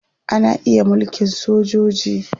Ana iya mulkin sojoji.